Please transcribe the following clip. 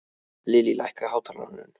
Lillý, lækkaðu í hátalaranum.